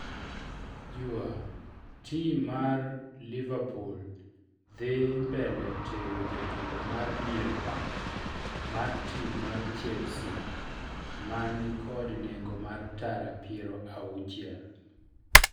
(jua)tim mar liverpool dhi mbele tego jatugo mar dier pap mar tim mar Chelsea mani kod nengo mar tara piero auchiel